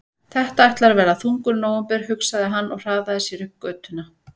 Þetta ætlar að verða þungur nóvember, hugsaði hann og hraðaði sér upp götuna.